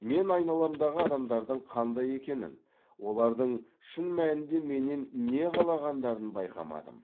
мен айналамдағы адамдардың қандай екенін олардың шын мәнінде менен не қалағандарын байқамадым